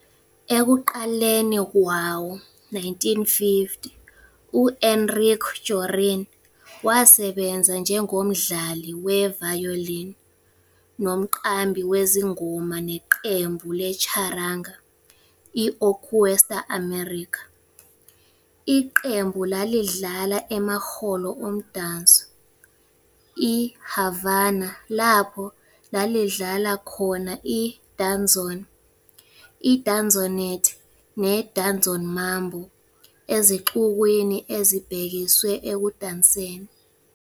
Ekuqaleni kwawo-1950, u-Enrique Jorrín wasebenza njengomdlali we-violin nomqambi wezingoma neqembu le-charanga i-Orquesta América. Iqembu lalidlala emahholo omdanso I-Havana lapho lalidlala khona i-danzón, i-danzonete, ne-danzon-mambo ezixukwini ezibhekiswe ekudanseni.